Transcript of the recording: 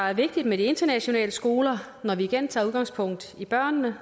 er vigtigt med de internationale skoler når vi igen tager udgangspunkt i børnene